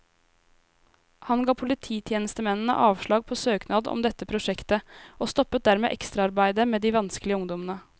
Han ga polititjenestemennene avslag på søknad om dette prosjektet, og stoppet dermed ekstraarbeidet med de vanskelige ungdommene.